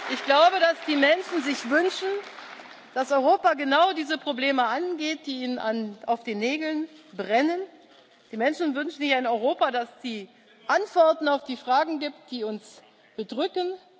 Ich glaube, dass die Menschen sich wünschen, dass Europa genau diese Probleme angeht, die ihnen auf den Nägeln brennen. Die Menschen wünschen sich ein Europa, das die Antworten auf die Fragen gibt, die uns bedrücken.